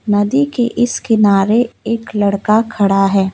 नदी के इस किनारे एक लड़का खड़ा है।